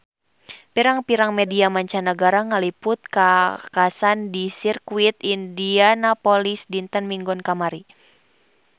Pirang-pirang media mancanagara ngaliput kakhasan di Sirkuit Indianapolis dinten Minggon kamari